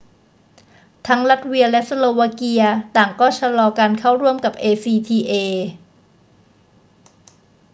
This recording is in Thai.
ทั้งลัตเวียและสโลวาเกียต่างก็ชะลอการเข้าร่วมกับ acta